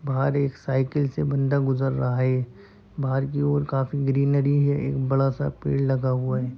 बाहर एक साइकिल से बंदा गुज़र रहा है बाहर की और काफी ग्रीनरी है एक बड़ा सा पेड़ लगा हुआ है।